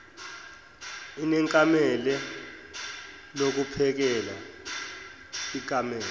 inekamela lokuphekela ikamela